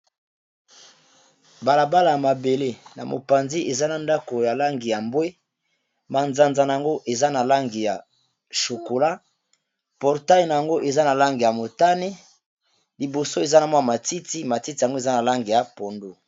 balabala ya mabele na mopanzi eza na ndako ya langi ya mbwe manzanza na yango eza na langi ya chokola portai na yango eza na lange ya motane liboso eza na mwa matiti matiti yango eza na langi ya pondo